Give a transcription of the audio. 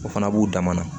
O fana b'u dama na